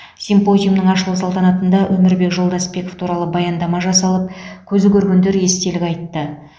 симпозиумның ашылу салтанатында өмірбек жолдасбеков туралы баяндама жасалып көзі көргендер естелік айтты